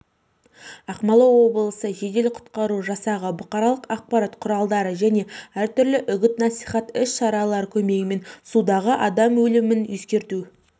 ақмола облысы жедел-құтқару жасағы бұқаралық ақпарат құралдары және әртүрлі үгіт-насихат іс-шаралары көмегімен судағы адам өлімін ескерту